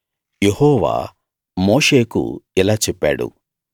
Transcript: యెహోవా మోషేకు ఇలా చెప్పాడు